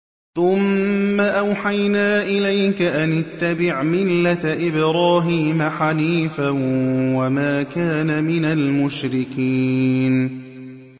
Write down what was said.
ثُمَّ أَوْحَيْنَا إِلَيْكَ أَنِ اتَّبِعْ مِلَّةَ إِبْرَاهِيمَ حَنِيفًا ۖ وَمَا كَانَ مِنَ الْمُشْرِكِينَ